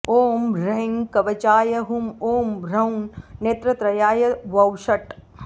ॐ ह्रैं कवचाय हुम् ॐ ह्रौं नेत्रत्रयाय वौषट्